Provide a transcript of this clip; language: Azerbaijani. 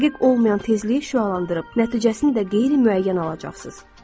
Dəqiq olmayan tezlik yayılandırıb, nəticəsində qeyri-müəyyən alacaqsınız.